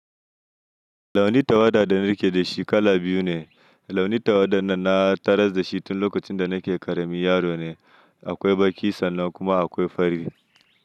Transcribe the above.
Launi tawada da nake da shi kala biyu ne. Launi tawada nan na tarar da shi tun lokacin da nake ƙaramin yaro ne. Akwai baƙi sannan kuma akwai fari.